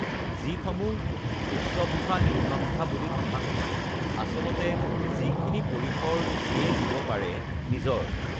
যিসমূহ উচ্চভাষা নিম্নভাষা বুলি কথা নহয় আচলতে যিখিনি পৰিসৰ যিয়ে দিব পাৰে নিজৰ